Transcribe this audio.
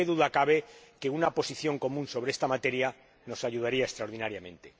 Pero qué duda cabe de que una posición común sobre esta materia nos ayudaría extraordinariamente.